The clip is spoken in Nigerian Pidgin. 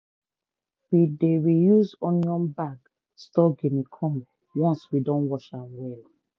we dey reuse onion bag store guinea corn once we don wash am well.